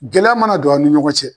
Gɛlɛya mana don an ni ɲɔgɔn cɛ